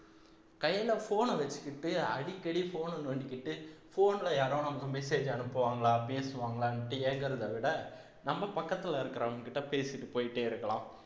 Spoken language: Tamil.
கையில phone அ வச்சுக்கிட்டு அடிக்கடி phone அ நோண்டிக்கிட்டு phone ல யாரோ நமக்கு message அனுப்புவாங்களா பேசுவாங்களான்னுட்டு ஏங்கறத விட நம்ம பக்கத்துல இருக்கறவங்ககிட்ட பேசிட்டு போயிட்டே இருக்கலாம்